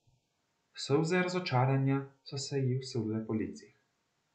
Solze razočaranja so se ji usule po licih.